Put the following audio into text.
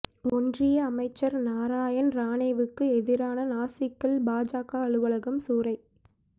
ஒன்றிய அமைச்சர் நாராயண் ரானேவுக்கு எதிராக நாசிக்கில் பாஜக அலுவலகம் சூறை